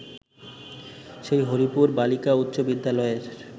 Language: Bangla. সে হরিপুর বালিকাউচ্চ বিদ্যালয়ের